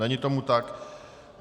Není tomu tak.